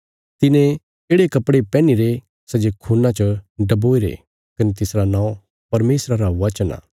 तिने येढ़े कपड़े पैहनीरे सै जे खून्ना च डुबोईरे कने तिसरा नौं परमेशरा रा वचन आ